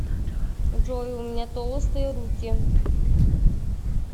джой у меня толстые руки